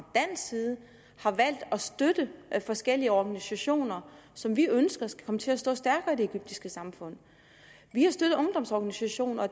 dansk side har valgt at støtte forskellige organisationer som vi ønsker skal komme til at stå stærkere i det egyptiske samfund vi har støttet ungdomsorganisationer og